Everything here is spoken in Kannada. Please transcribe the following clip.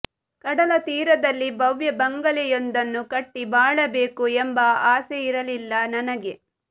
ಕಡಲ ತೀರದಲ್ಲಿ ಭವ್ಯ ಬಂಗಲೆಯೊಂದನ್ನು ಕಟ್ಟಿ ಬಾಳಬೇಕು ಎಂಬ ಆಸೆಯಿರಲಿಲ್ಲ ನನಗೆ